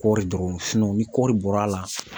Kɔɔri dɔrɔn ni kɔɔri bɔr'a la